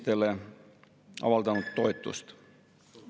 Teie olete üks nendest õnnelikest, kes võib-olla 10 või 20 minuti pärast hakkab juubeldama.